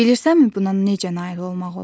Bilirsənmi buna necə nail olmaq olar?